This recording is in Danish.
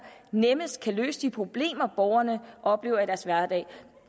nemmest kan løse de problemer borgerne oplever i deres hverdag